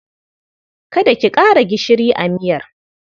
Kada ki ƙara gishiri a miyar.